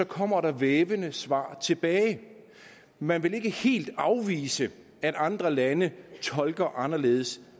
kommer der vævende svar tilbage man vil ikke helt afvise at andre lande tolker det anderledes